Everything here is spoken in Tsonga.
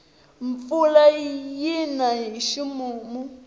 mpfula yina hi ximumu